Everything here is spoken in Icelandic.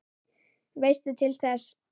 Veistu til þess?